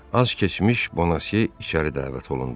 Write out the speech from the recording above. Az keçmiş Bonasiye içəri dəvət olundu.